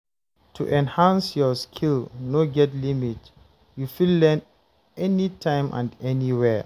To enhance your skill no get limit, you fit learn anytime and anywhere.